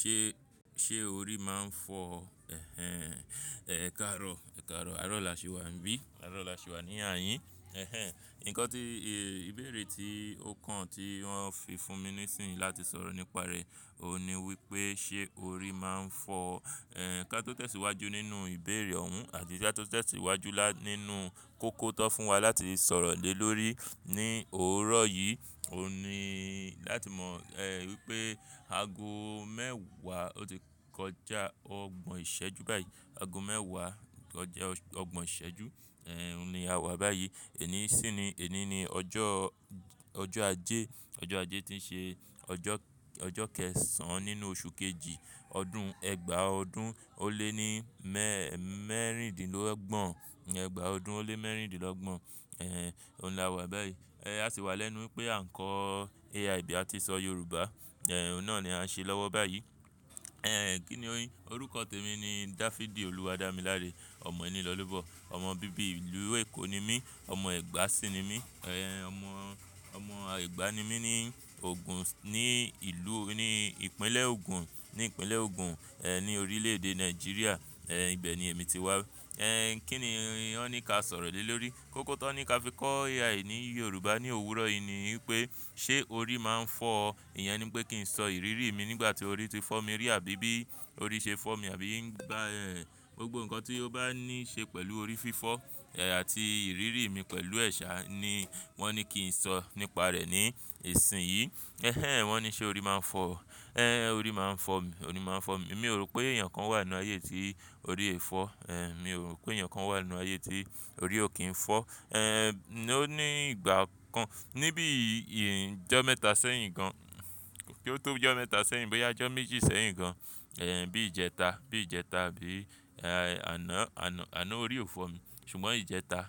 Ṣé, ṣé orí máa ń fọ́? Ẹkáàrọ̀, ẹkáàrọ̀, aro lá ṣì wà níbí. Aro ọlá ṣì wà ní ààyìn. Nǹkan tí, ìbéèrè tí ó kan tí wọ́n fi fún mi nísinyìí láti sọ̀rọ̀ nípa rẹ̀, òun ni wípé ṣé orí máa ń fọ́? Kátó tesì iwájú nínú ìbéèrè òun àti kátó tesì iwájú nínú kọ́kọ́ tọ́ fún wa láti sọ̀rọ̀ lé lórí ní òórọ̀ yìí, òun ni láti mọ̀, wípé ago mẹ́wàá ó ti kọjá ọgbọ̀n ìṣẹ́jú báyìí. Ago mẹ́wàá kọjá ọgbọ̀n ìṣẹ́jú, eh, òun ni a wà báyìí. Ẹní sì ni, ẹni ni ọjọ́, ọjọ́ ajé. Ọjọ́ ajé tí ń ṣe ọjọ́, ọjọ́ kẹsàn án nínú oṣù kejì ọdún, ẹgbàá ọdún ó lé ní mẹẹ́rìndínlọ́gbọ̀n. Ẹgbàá ọdún ó lé mẹ́rìndínlọ́gbọ̀n, òun la wà báyìí. A sì wá lẹ́nu wípé à ń kọ́ AI bí a ti ṣọ Yorùbá. Òun ná ni a ń ṣe lọ́wọ́ báyìí. Kíni orin? Orúkọ tèmi ni Dafidi Olúwadámiláre. Ọmọ ẹni lọ lobọ. Ọmọ bíbí ìlú Èkó ni mí. Ọmọ ẹ̀gbá sì ni mí. Ọmọ, ọmọ ẹ̀gbá ni mí ní ògùn, ní ìlú, ní ìpínlẹ̀ ògùn, ní ìpínlẹ̀ ògùn, ní orílẹ̀ èdè Nàìjíríà. Ibẹ̀ ni èmi ti wá. Kí ni wọ́n ní ka sọ̀rọ̀ lé lórí? Kọ́kọ́ tọ́ ní kí a fi kọ́ AI ní Yorùbá ní òwúrọ̀ yìí ni wípé ṣé orí máa ń fọ́? Ìyẹn ni pé kí n sọ ìrírí mi nígbà tí orí ti fọ́ mi rí àbí bí orí ṣe fọ́ mi àbí, gbogbo ǹkan tí ó bá ní ṣe pẹ̀lú orí fífọ́ àti ìrírí mi pẹ̀lú ẹ̀ ṣa ni wọ́n ní kí n sọ nípa rẹ̀ ní ìsinyìí. Wọ́n ní ṣé orí máa ń fọ́? Orí máa ń fọ́ mi, orí máa ń fọ́ mi. Èmi ò rò pé èèyàn kan wà nínú ayé tí orí o yi fọ́. Èmi ò rò pé ẹnìkan wà nínú ayé tí orí ò kí ń fọ́. Ó ní ìgbà kan, níbí ìjọ mẹ́ta sẹ́yìn gan, kí ó tó bí ìjọ mẹ́ta sẹ́yìn, bóyá ìjọ méjì sẹ́yìn gan. Ehn, bí ìjẹta, bí ìjẹta àbí, eh, àná, àná, àná orí ò fọ́ mi. Ṣùgbọ́n ìjẹta,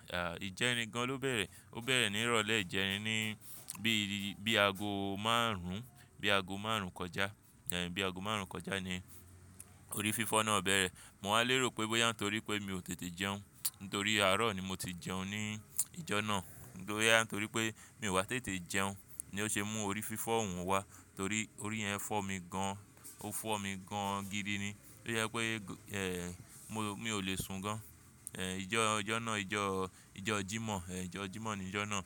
ìjẹrin gan ló bẹ̀rẹ̀. Ó bẹ̀rẹ̀ ní ìrọ̀lẹ́ ìjẹrin ní bí i, bí ago márùn, bí ago márùn kọjá. Ehn, bí i ago márùn-ún kọjá ni orí fífọ́ náà bẹ̀rẹ̀. Mo wá lérò pé bóyá nítorí pé mi ò tètè jẹun, nítorí àárọ̀ ni mo ti jẹun ní ìjọ náà. Bóyá nítorí pé mi ò wá tètè jẹun ni ó ṣe mú orí fífọ́ òun wá. Torí orí yẹn fọ́ mi gan. Ó fọ́ mi gan gidi ni. Tójẹ pé, mo, mi ò le sun gan. Ìjọ, ìjọ náà, ìjọ, ìjọ Jímọ̀, ìjọ Jímọ̀ ni ìjọ náà.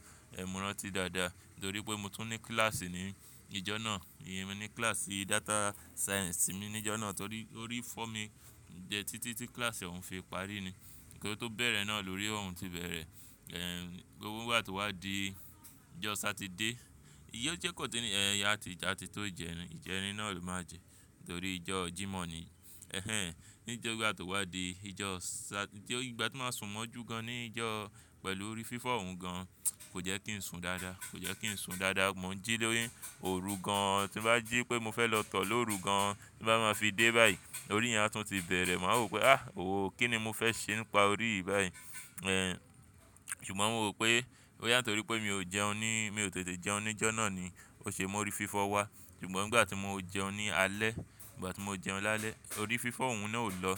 Mo rántí dáadáa nítorí pé mo tún ní kíláàsì ní ìjọ náà. Èmi ní kíláàsì data science mi ní ìjọ náà torí orí fọ́ mi jẹ títí tí kíláàsì òun fi parí ni. Kí ó tó bẹ̀rẹ̀ náà lórí òun ti bẹ̀rẹ̀. Gbogbo n gbà tí ó wá di ìjọ Satide, iyọ jẹ́ kan tún nìyẹn, a ti, a ti tó jẹrin. Ìjẹrin náà ló máa jẹ torí ìjọ Jímọ̀ ni. Nígbà tí ó wá di ìjọ sa-- ìgbà tí mo máa sùn mọ́ jù gan ní ìjọ pẹ̀lú orí fífọ́ òun gan, kò jẹ́ kí n sùn dáadáa. Kò jẹ́ kí n sùn dáadáa. Mo ń jí lórí òru gan, tí bá jí pé mo fẹ́ lọ tọ̀ lóru gan, bá máa fi dé báyìí, orí yẹn á tún ti bẹ̀rẹ̀. Mo a rò pé àh! Oò, kí ni mo fẹ́ ṣe nípa orí yìí báyìí? Ṣùgbọ́n mo rò pé, bóyá nítorí pé mi ò jẹun ní, mi ò tètè jẹun ní ìjọ náà ni ó ṣe mú orí fífọ́ wá. Ṣùgbọ́n nígbà tí mo jẹun ní alẹ́, nígbà tí mo jẹun lálẹ́, orí fífọ́ òun náà ò lọ.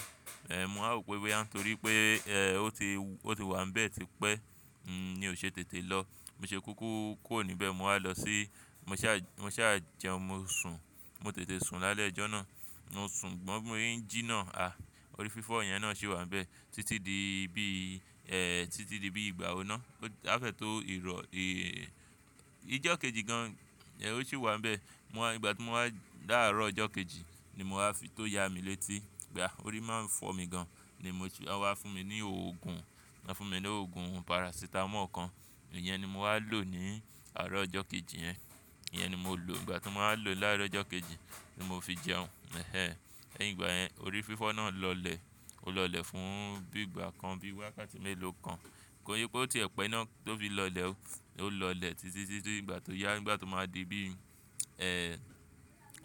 Mo wá rò pé bóyá nítorí pé, ó ti, ó ti wà níbẹ̀ tipẹ́ ni ó ṣe tètè lọ. Mo ṣe kúkú kúrò níbẹ̀, mo wá lọ sí-- mo ṣà, mo ṣà jẹun, mo sùn. Mo tètè sùn lálẹ́ ìjọ náà. Mo sùn ṣùgbọ́n, bí mo ṣe ń jí náà, orí fífọ́ yẹn náà ṣì wà níbẹ̀ títí di bí, títí di bí ìgbàwo náà. Áfẹ̀tọ́ ìrọ̀, ìjọ kejì gan, ó sì wà níbẹ̀. Mo wá, ìgbà tí mo wá láàárọ̀ ìjọ́ kejì ni mo wá fi tó ya mi létí. Pe, orí máa ń fọ́ mi gan ni mo ti, wọ́n fún mi ní òògùn, wọ́n fún mi ní òògùn parasitamọ́ọ̀ kan. Ìyẹn ni mo wá lò ní àárọ̀ ọjọ́ kejì yẹn. Ìyẹn ni mo lò. Ìgbà tí mo wá lò láàárọ̀ ọjọ́ kejì ni mo fi jẹun. Ní ìgbà yẹn orí fífọ́ náà lọlẹ̀. Ó lọlẹ̀ fún bí ìgbà kan bí wákàtí mélòó kan. Kò yí pé ó ti ẹ̀pẹ̀ iná tó fi lọlẹ̀ ó. Ó lọlẹ̀ títí sí ti ìgbà tó yá, ìgbà tó máa di bí,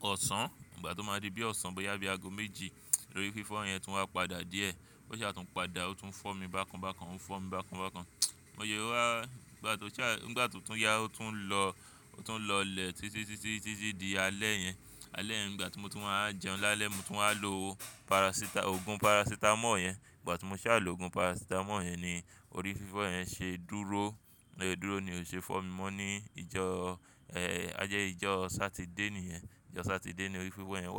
ọ̀sán. Ìgbà tó máa di bí ọ̀sán bóyá bí ago méjì lórí fífọ́ yẹn tún wá padà díẹ̀. Ó ṣà tún padà, ó tún fọ́ mi bákan bákan. Ó ń fọ́ mi bákan bákan. Ní ó wá, nígbà tó ṣà, nígbà tó tún yá ó tún lọ, ó tún lọlẹ̀ títí, títí, títí di alẹ́ yẹn. Alẹ́ yẹn, ìgbà tí mo tún wá jẹun lálẹ́, mo tún wá lo parasita-- òògùn parasitamọ́ọ̀ yẹn. Nígbà tí mo ṣà lò òògùn parasitamọ́ọ̀ yẹn ni orí fífọ́ yẹn ṣe dúró. Bóṣe dúró ni, ò ṣe é fọ́ mi mọ́ ní ìjọ, a jẹ́ ìjọ Satide ni yẹn. Ìjọ Satide ni orí fífọ́ yẹn.